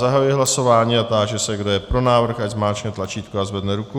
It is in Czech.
Zahajuji hlasování a táži se, kdo je pro návrh, ať zmáčkne tlačítko a zvedne ruku.